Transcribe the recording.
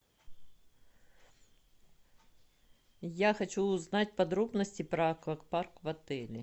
я хочу узнать подробности про аквапарк в отеле